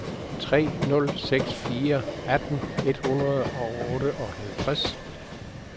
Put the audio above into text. tre nul seks fire atten et hundrede og otteoghalvtreds